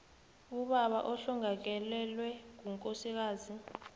ubaba ohlongakalelwe ngukosikazi